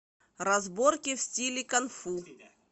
разборки в стиле кунг фу